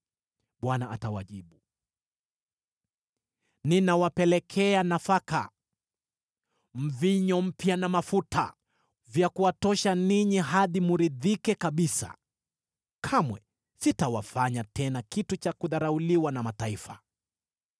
Bwana atawajibu: “Ninawapelekea nafaka, mvinyo mpya na mafuta, vya kuwatosha ninyi hadi mridhike kabisa; kamwe sitawafanya tena kitu cha kudharauliwa na mataifa.